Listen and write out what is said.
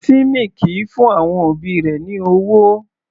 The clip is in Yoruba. Timmy kìí fún àwọn òbí rẹ̀ ní ọwọ́.